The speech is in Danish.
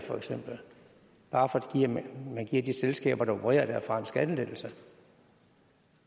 bare fordi man giver de selskaber der opererer derfra en skattelettelse